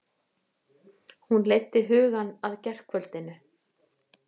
Hún leiddi hugann að gærkvöldinu.